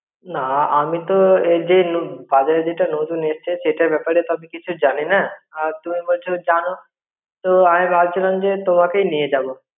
না আমি তো এইযে তনু~ বাজারে যেটা নতুন এসছে সেটার ব্যাপারে সব কিছু জানি না, আর তুমি বলছো জানো. তো আমি ভাব ছিলাম তোমাকে নিয়ে যাব.